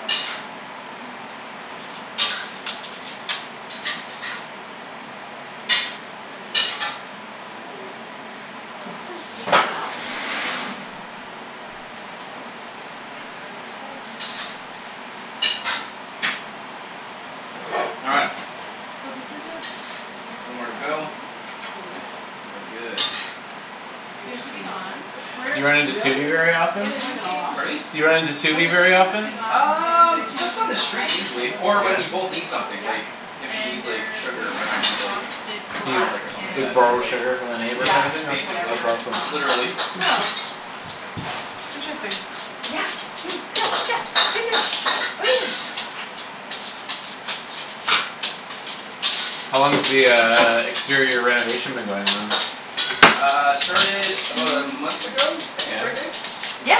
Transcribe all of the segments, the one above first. Oh, yeah, I think it's just downstairs. Oh. Yeah. Cool. It's completely off. I didn't realize their siding was off. Well All right. So this is your, your One more to go. balcony, cool. And we're good. Soon to be This one's gonna gone. be quick. You run into Really? very They're Yeah, often? they're pulling gonna it all off? change Pardon me? Do you run into Well, they're very taking the often? thing off. And they're Um, just on changing the the street siding so usually, they'll be or when Yeah. we taking both this need off. something, Yep. like if she And needs, like, they're putting sugar or like I a need, like frosted You glass garlic or something like b- and that we'll, borrow like sugar from the neighbour type Yeah, black of thing? That's, basically. that's whatever awesome. on. Literally. Oh. Interesting. Yeah, you, yeah, yeah, what are you doing? What are you doing? How long has the uh exterior renovation been going on? Uh, started about a month ago, I Yeah? think? Right, babe? Yeah.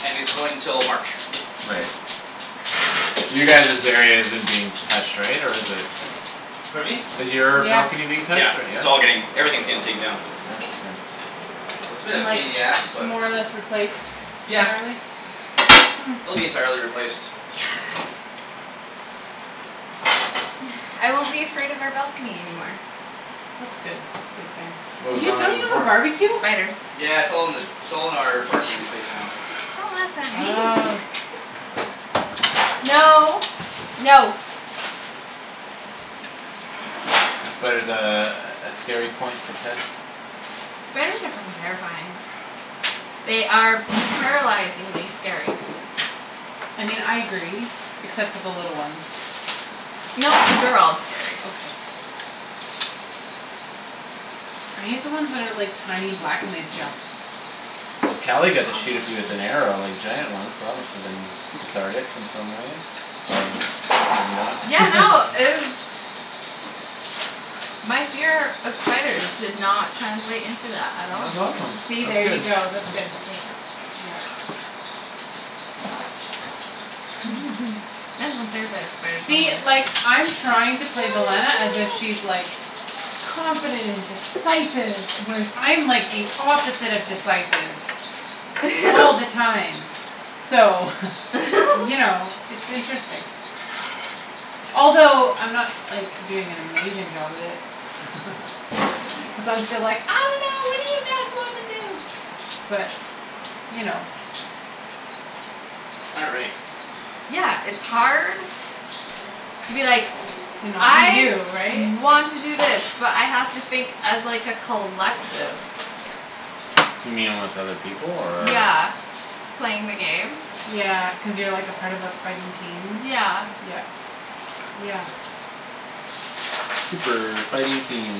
And it's going till March. Right. You guys's area isn't being touched, right, or is it? Pardon me? Is your balcony being touched Yeah, or? Yeah? it's all getting, everything's getting taken down. Oh, interesting. That's a bit and of a like pain in the ass, but. more or less replaced Yeah. entirely It'll be entirely replaced. Yes. I won't be afraid of our balcony anymore. That's good. That's a good thing. What was You, wrong with don't it you have a before? barbeque? Spiders. Yeah, it's all in the, it's all in our parking space now. Oh. No. No. Spider's a, a scary point for Ped? Spiders are fucking terrifying. They are paralyzingly scary. I mean, I agree except for the little ones. No, they're all scary. Okay. I hate the ones that are, like, tiny black and they jump. Well, Kali got to shoot a few with an arrow, like, giant ones so that musta been cathartic in some ways or maybe not. Yeah, no, it was My fear of spiders did not translate into that at all. That's awesome; See? that's There you good. go; that's good. Eh. Yep. spider See? somewhere. Like, I'm trying to play as if she's, like confident and decisive whereas I'm like the opposite of decisive all the time. So, you know, it's interesting. Although I'm not, like, doing an amazing job of it. Cuz I'm still like, "I don't know; what do you guys wanna do" but you know. All right. Yeah, it's hard to be like To not be "I you, right? want to do this but I have to think as, like, a collective." You mean with other people, or? Yeah, playing the game. Yeah, cuz you're, like, a part of a fighting team? Yeah. Yeah. Yeah. Super fighting team,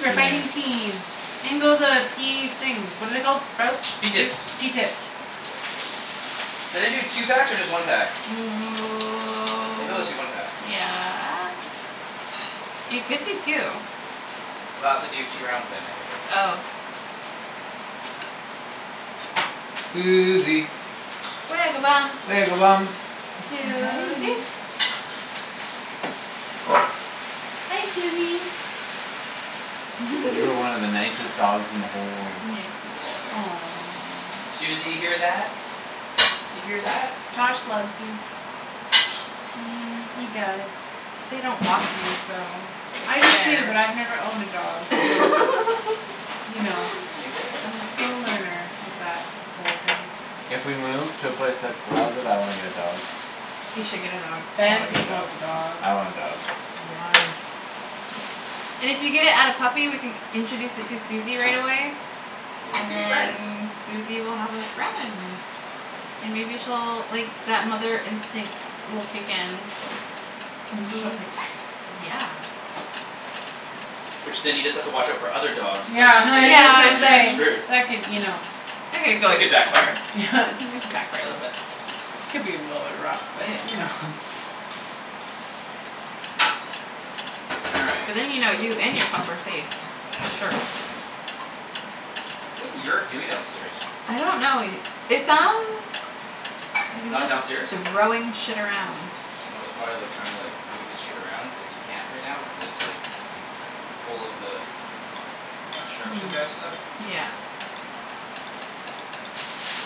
that's your fighting name. team. In go the pea things. What are they called? Sprouts? Pea Pea tips? tips. Pea tips. Should I do two packs or just one pack? Maybe I'll just do one pack. Yeah. You could do two. Then I'll have to do two rounds then, I think. Oh. Susie. Susie. Hi. Hi, Susie. You're one of the nicest dogs in the whole world. Yes, you are. Susie, Aw. you hear that? You hear that? Josh loves you. He does. They don't walk you so I it's do too, fair. but I've never owned a dog so you know. Hey, there. I'm still a learner with that whole thing. If we move to a place that allows it, I wanna get a dog. You should get a dog. I Ben wanna get a dog. wants a dog. I want a dog. And if you get it at a puppy we can introduce it to Susie right away. Then they And could be friends. then Susie will have a friend. And maybe she'll, like, that mother instinct will kick in. Maybe she'll protect it. Yeah. Which then you just have to watch our for other dogs playing Yeah, with was it just because Yeah, then gonna and you're kinda say, then screwed. that could, you know That could backfire. back for a little bit. Could be a little bit rough, but, you Yeah. know. All So right, then you know you so. and your pup are safe for sure. What's Yerk doing downstairs? I don't know it, it sounds like he's Not just downstairs? throwing shit around. Oh, he's probably, like, trying to, like move his shit around cuz he can't right now, cuz it's, like full of the construction Hmm. guy stuff. Yeah.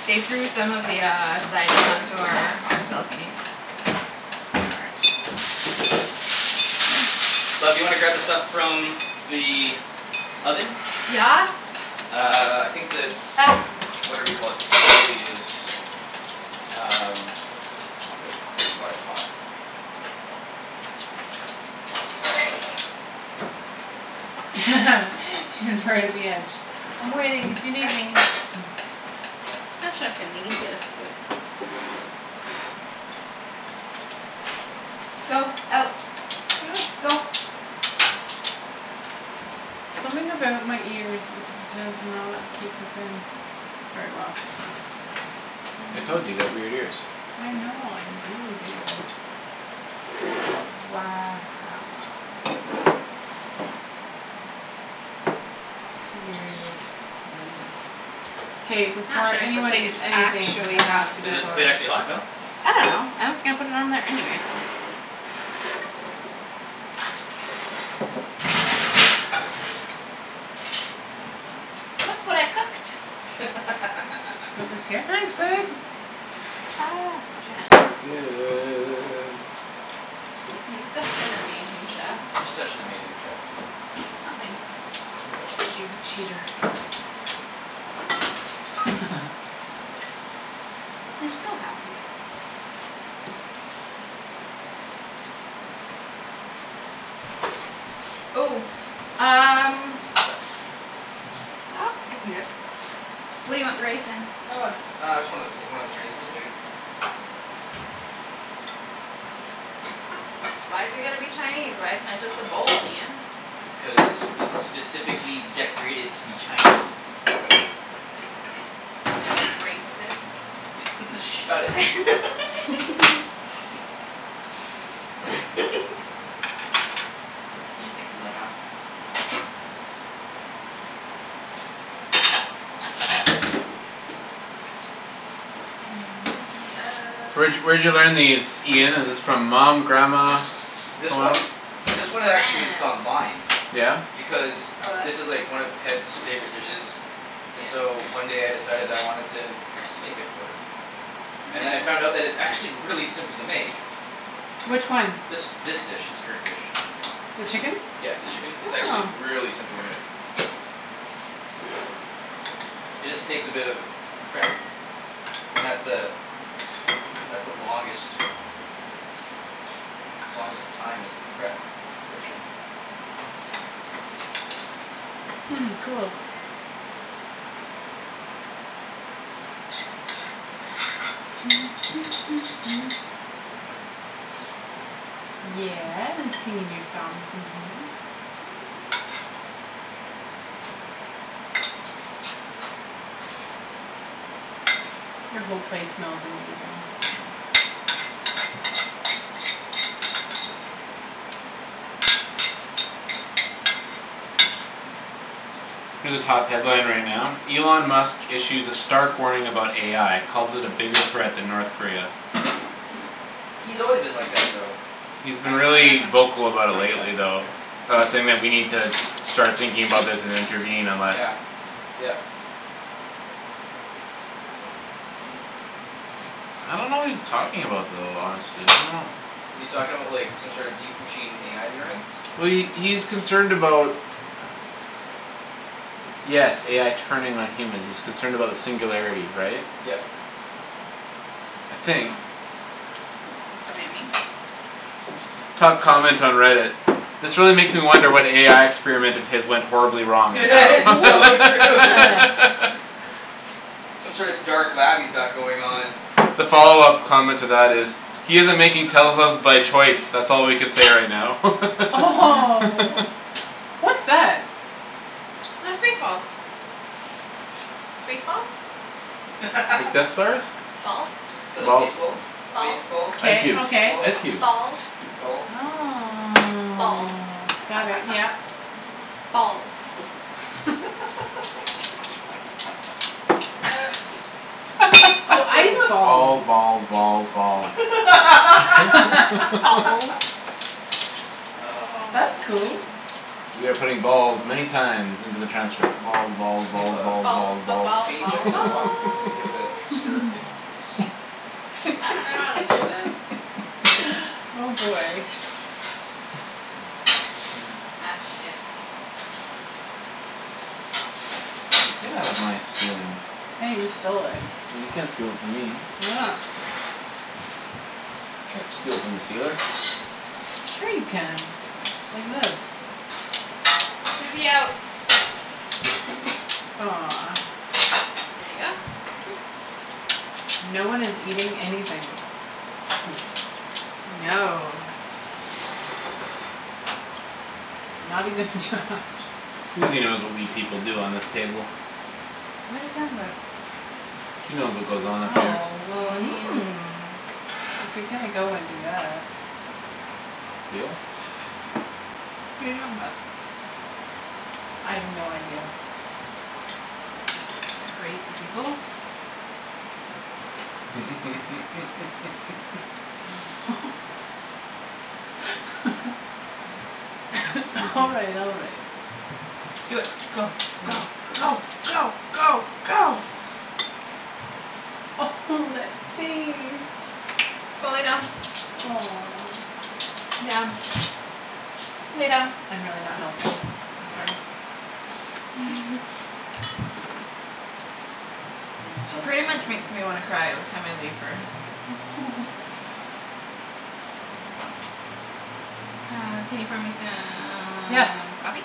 They threw some of the uh siding onto our balcony. All right. Oops. Ah. Love, do you wanna grab the stuff from the oven? Yes. Uh, I think the Out. whatever you call it probably is Um. probably hot. She's right at the edge. "I'm waiting if you need me." I'm not sure if we need this, but. Go. Out. Go. Something about my ears is, does not keep this in. Very well. I told you you got weird ears. I know, I really do. All right, sweet. K, I'm not before sure the anyone plate is eats anything, actually there has hot to be Is but the photos. plate actually hot? No? I don't know. I'm just gonna put it on there anyway. Okay. Look what I cooked. What was here? Ah, wash your It does hands. look good. I'm such an amazing chef. You're such an amazing chef. Oh, thanks, You're Ian. welcome. You're a cheater. You're so happy. Ooh, um What's up? Nope, I can do it. What do you want the rice in? Uh, j- uh, just one of, o- one of the Chinese bowls, maybe? Why's it gotta be Chinese? Why isn't it just a bowl, Ian? Cuz it's specifically decorated to be Chinese. Y'all T- Shut racist. it. I'm gonna take the lid off. And in the So where'd ove- y- where'd you learn these, Ian, is this from mom, grandma, This someone one? else? This From one, it actually was just grams. online. Yeah? Because Oh, this is like this? one of Ped's favorite dishes. And so one Yeah. day I decided I wanted to make it for her. And then I found that it's actually really simple to make. Which one? This, this dish. This current dish. The chicken? Yeah, the chicken, it's actually Oh. really simple to make. It just takes a bit of prep. And that's the that's the longest longest time is the prep portion. Hmm, cool. Yeah, we're singing your song, Susie. Your whole place smells amazing. Here's a top headline right now, Elon Musk issues a stark warning about AI calls it a bigger threat than North Korea. He's always been like that though. He's been Front one or back really one? vocal about it Pardon me? That's lately fine, right though. there. About saying that we need to start thinking about this and intervene unless Yeah, yep. I don't know what he's talking about though, honestly. I don't know Is he talking about, like, some sort deep machine AI learning? Well, he, he's concerned about Yes, AI turning on humans; he's concerned about the singularity, right? Yep. I think. It's so yummy. Top comment on Reddit. "This really makes me wonder what AI experiment of his went horribly wrong." It's so true. Some sort of dark lab he's got going on. The follow-up comment to that is "He's isn't making Teslas by choice. That's all we can say right now." Oh, what's that? They're space balls. Space balls. Like Death Stars? Balls Little Balls. stace balls. Space Balls balls, Ice K, cubes, okay. balls. ice cubes. Balls Balls. Oh. Balls Got it, yeah. Balls Oh, ice Balls, balls. balls, balls, balls. Balls Oh, That's cool. man. We are putting balls many times into the transcript: balls, balls, Hey, balls, love. balls, balls, Balls, balls, balls, Can you balls, check balls. the balls wok? And give it a stir if it's I dunno how to do this. Oh, boy. Ak, shit. Hey, get out of my stealings. Hey, you stole it. Well, you can't steal it from me. You can't steal from the stealer. Sure you can, Nice, like thank you. this. Susie, out. Aw. There you go. Thank you. No one is eating anything. No. Not even Josh. Susie knows what we people do on this table. What are you talking about? She knows what goes on up here. Oh, well, I mean if you're gonna go and do that. Steal? What are you talking about? I have no idea. You crazy people. All Susie. right, all right. Do it. Go, go, Right. go, go, go, go. Oh, that face. Go lay down. Aw. Down. Lay down. I'm really not helping. I'm sorry. Pretty much makes me wanna cry every time I leave her. Uh, can you pour me some Yes. coffee?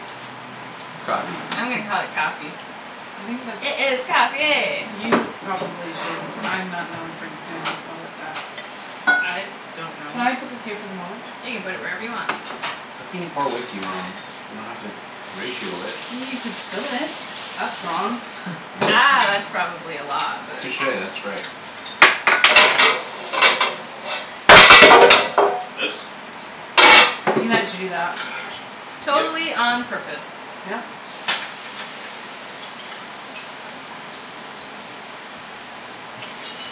Coffee. I'm gonna call it coffee. I think that's It is coffee. You probably should. I'm not known for doing well at that. I don't know. Can I put this here for the moment? You can put it wherever you want. How can you pour whiskey wrong? You don't have to ratio it. You could spill it; that's wrong. Ah, that's probably a lot, but. Touche, that's right. Oops. You meant to do that. Yep. Totally on purpose. Yep.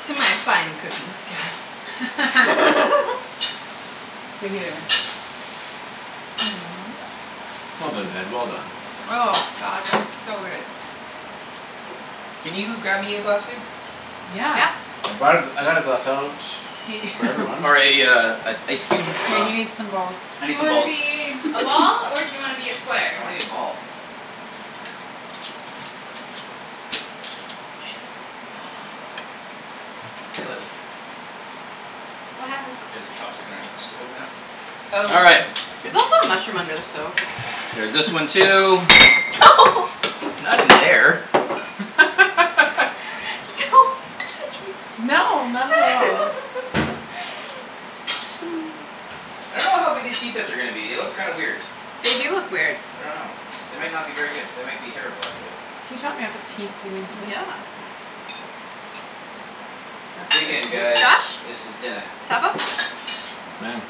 To my fine cooking skills. Hear, hear. Well done, Ped, well done. Oh, god, that is so good. Can you grab me a glass, babe? Yeah. Yeah. I brought a, I got a glass out Hey for everyone. Or a, uh, an ice cube? Yeah, you need some Um balls. I Do need you some wanna balls. be a ball or do you wanna be a square? I wanna be ball. Ah, shit. Oh, well. C'est la vie. What happened? There's a chopstick underneath the stove now. Oh, All right. there's also a mushroom under the stove. There's this one too. Not in there. Don't touch me. No, not at all. I don't know how good these pea tips are gonna be; they look kind weird. They do look weird. I don't know. They might not be very good. They might be terrible, actually. Can you top me off a teensy weensy bit? Yeah. That's Dig good, in thank guys, Josh, you. this is dinna. top up? Yes, ma'am.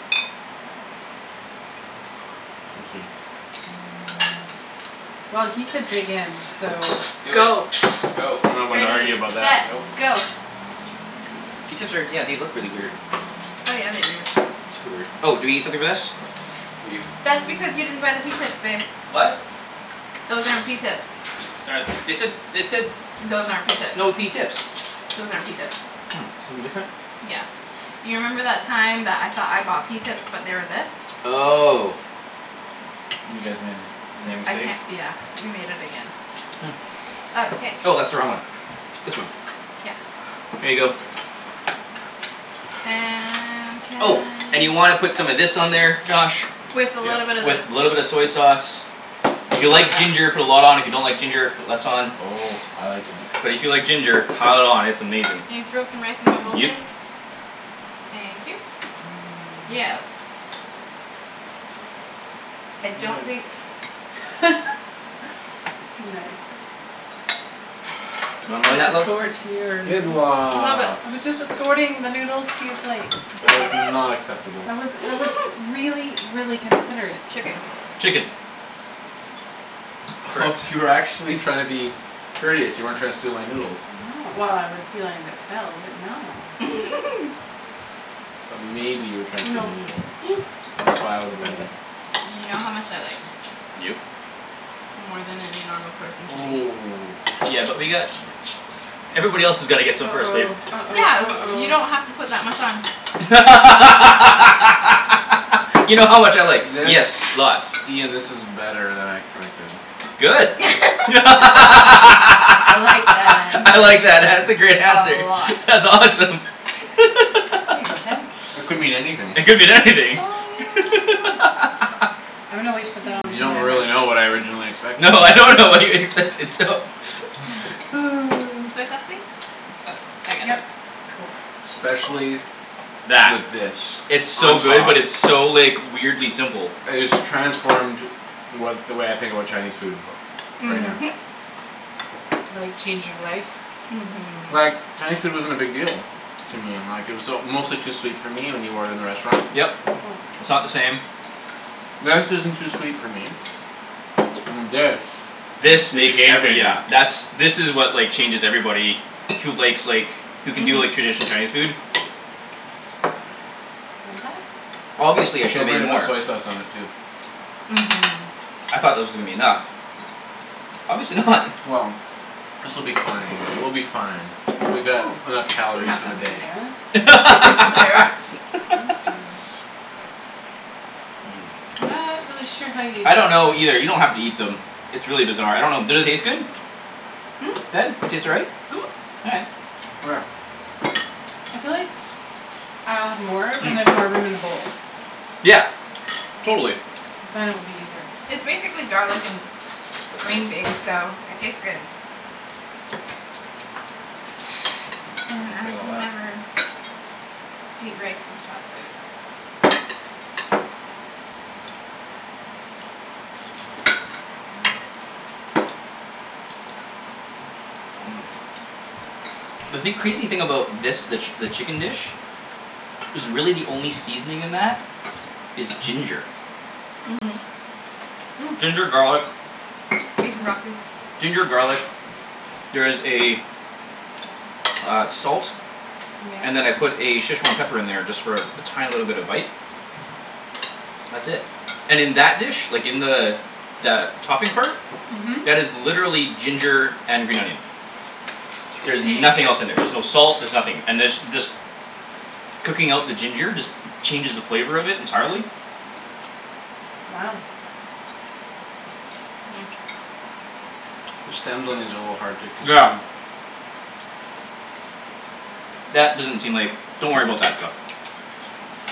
Well, he said dig in, so. Do it, Go. go. I'm not one to argue Ready, about that. set, Nope. go. Pea tips are, yeah, they look really weird. Oh, yeah, they do. Super weird. Oh, do we need something for this? We do. That's because you didn't buy the pea tips, babe. What? Those aren't pea tips. They said, they said Those aren't pea s- tips. snow pea tips. Those aren't pea tips. Oh, something different? Yeah, you remember that time that I thought I bought pea tips but they were this? Oh. You guys made the same I mistake. can't, yeah, we made it again. Oh. Okay. Oh, that's the wrong one. This one. Yeah. Here you go. And can Oh, and you y- wanna put some of this on there, Josh. With a little bit Yep. of this. With little bit of soy sauce. If you like ginger, put a lot on, if you don't like ginger, put less on. Oh, I like ginger. But if you like ginger pile it on; it's amazing. Can you throw some rice in my bowl, please? Yep. Thank you. Yeah, that's I don't think Nice. You want more Can I then that, love? escort your Good noodles? Little bit. I was just escorting the noodles to your plate. That was not acceptable. That was, it was really, really considerate. Chicken. Chicken. Oh you were actually trying to be courteous; you weren't trying to steal my noodles. No, well, I would steal anything that fell but, no. But maybe you were trying to Oh, steal no. my noodles. And that's why I was Made offended. it. You know how much I like. Yep. More than any normal person should eat. Ooh. Yeah, but we got Everybody else's gotta get some first, babe. uh-oh, Yeah, uh-oh, you don't have to uh-oh. put that much on. You know how much I like. This, Yes, lots. Ian, this is better than I expected. Good. I'm I I like that answer. like that; that's a great A answer. lot. That's awesome. Here you go, Ped. It could mean anything. It could mean Oh, anything. yeah. I'm gonna wait to put that You onto my don't rice. really know what I originally expected. No, I don't know what you expected, so. Oh. Soy sauce, please. Oh, I got it. Yep. Especially with That. this It's on so good top. but it's so, like weirdly simple. It has transformed what, the way I think about Chinese food. Right now. Mhm. Like change your life? Like, Mhm. Chinese food wasn't a big deal to me. Like it was uh mostly too sweet for me when you order in the restaurant. Yep, it's not the same. That isn't too sweet for me. And this This The makes game every, changer. yeah, that's, this is what, like, changes everybody who likes, like who can do, like, traditional Mhm. Chinese food. Obviously I should have Don't made forget to put more. soy sauce on it too. Mhm. I thought that was gonna be enough. Obviously not. Well, this will be fine; we'll be fine. Oh, We got can enough you calories pass for that the for me, darling? day. Thank you. Not really sure how you I don't know either; you don't have to eat them. It's really bizarre. I don't know; did it taste good? Ped, they taste all right? Mhm. All right. Where? I feel like I'll have more when there's Hmm. more room in the bowl. Yeah. Totally. Then it will be easier. It's basically garlic and green beans so it tastes good. And I can never eat rice with chopsticks. Mmm. The thing, crazy thing about this, the, the chicken dish is really the only seasoning in that is ginger. Mhm. Mm. Ginger, garlic. Beef and broccoli. Ginger, garlic. There is a uh, salt. Yeah. And then I put a Szechwan pepper in there just for a tiny little bit of bite. That's it. And in that dish, like, in the the topping part Mhm. that is literally ginger and green onion. There's Thank nothing else in there. you. There's no salt; there's nothing. And there's, this cooking out the ginger just changes the flavor of it entirely. Wow. The stems on these are a little hard to Yeah. consume. That doesn't seem like, don't worry about that stuff.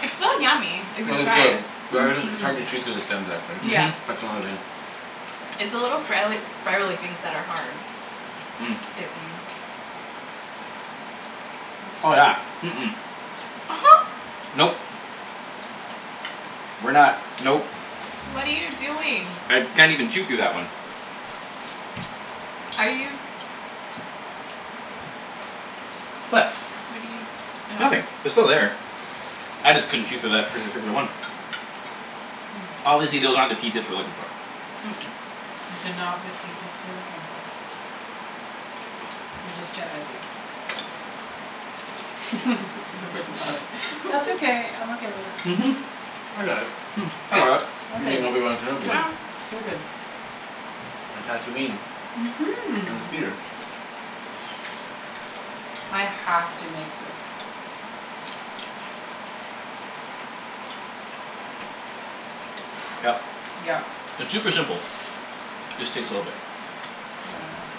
It's still yummy if you Well, it's try good it. but I just, it's Mhm. hard to chew through the stems actually; Yeah. Mhm. that's the only thing It's the little sprialy- spiraly things that are hard. Mm. It seems. Oh, yeah. Mm- mm. Nope. We're not, nope. What are you doing? I can't even chew through that one. Are you What? What are you, Nothing. oh. They're still there. I just couldn't chew through that par- particular one. Obviously those aren't the pea tips we're looking for. That's okay. I'm okay with that. Mhm. I got it. Hmm, I Yeah, got it. You ok, mean Obi Wan yeah, Kenobi. Good. you're Good, good. good. Mhm. I have to make this. Yep. Yep. It's super simple. Just takes a little bit. Wow.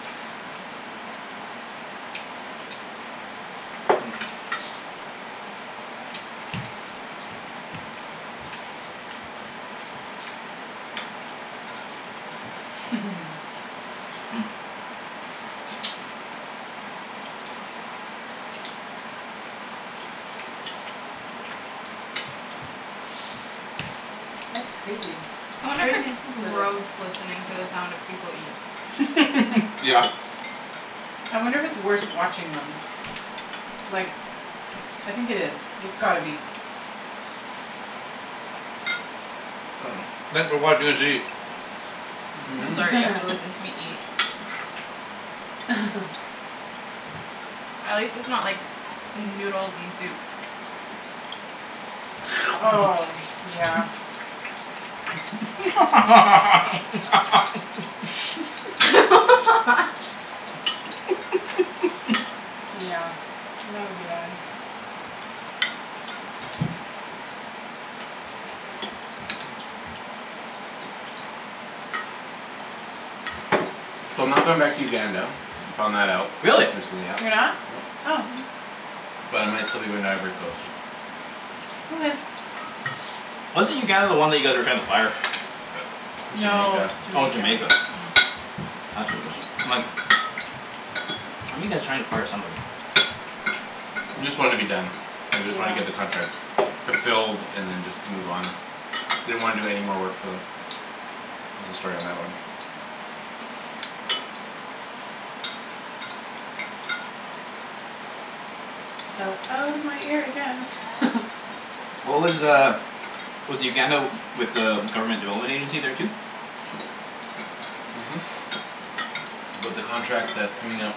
Hmm. That's crazy. I It's wonder if crazy it's how simple it is. gross listening to the sound of people eat. Yeah. I wonder if it's worse watching them. Like I think it is; it's gotta be. Thanks for watching us eat. I'm sorry you have to listen to me eat. At least its not like noodles and soup. Oh, yeah. Yeah, that would be bad. So I'm not going back to Uganda; I found that out, Really? recently, yeah. You're not? Nope. Oh. But I might still be going to Ivory Coast. Okay. Wasn't Uganda the one that you guys were trying to fire? That's No, Jamaica. Oh, Jamaica. Jamaica. That's what it was. My fire somebody. Just wanna be done. I just wanna get the Yeah. contract fulfilled and then just move on. Didn't wanna do any more work for them There's a story on that one. Fell out of my ear again. What was uh Was the Uganda with uh government development agency there too? Mhm. But the contract that's coming up